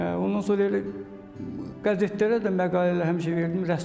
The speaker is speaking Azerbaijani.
Ondan sonra elə qəzetlərə də məqalələri həmişə verirdim, rəssam olacağam.